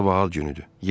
Sabah ad günüdür.